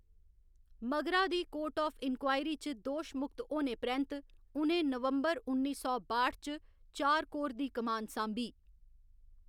मगरा दी court of inquiry च दोशमुक्त होने परैंत्त, उ'नें नवंबर उन्नी सौ बाठ च चार कोर दी कमान सांभी।